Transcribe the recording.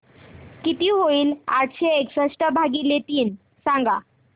किती होईल आठशे एकसष्ट भागीले तीन सांगा